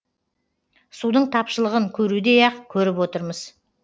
судың тапшылығын көрудей ақ көріп отырмыз